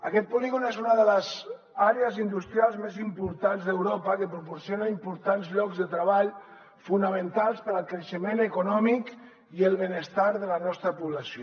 aquest polígon és una de les àrees industrials més importants d’europa i proporciona importants llocs de treball fonamentals per al creixement econòmic i el benestar de la nostra població